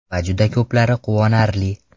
Va juda ko‘plari quvonarli.